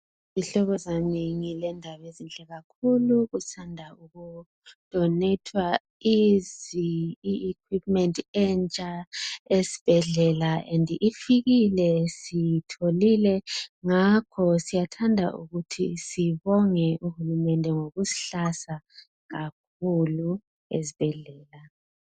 Zihlobo zami ngilendaba ezinhle kakhulu kusanda ukudonethwa izi I equipment entsha esibhedlela ende ifikile, siyitholile ngakho siyathanda ukuthi sibone uhulumende ngokusihlasa kakhulu esibhedlela.